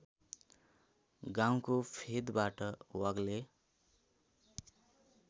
गाउँको फेदबाट वाग्ले